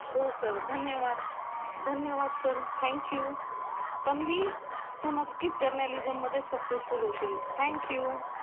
हो सर, धन्यवाद, धन्यवाद सर, थँक यू. तन्वी, तू नक्कीच जर्नलिझममध्ये सक्सेसफुल होशील. Thank you!